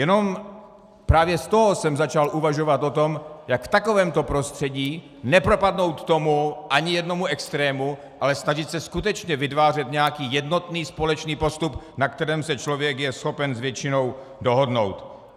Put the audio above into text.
Jenom právě z toho jsem začal uvažovat o tom, jak v takovémto prostředí nepropadnout tomu, ani jednomu extrému, ale snažit se skutečně vytvářet nějaký jednotný společný postup, na kterém se člověk je schopen s většinou dohodnout.